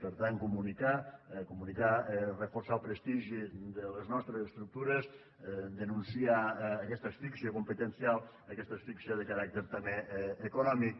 per tant comunicar comunicar és reforçar el prestigi de les nostres estructures denunciar aquesta asfixia competencial aquesta asfíxia de caràcter també econòmic